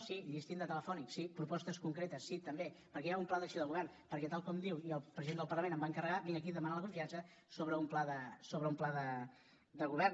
sí llistín telefònic sí propostes concretes si també perquè hi ha un pla d’acció de govern perquè tal com diu i el president del parlament em va encarregar vinc aquí a demanar la confiança sobre un pla de govern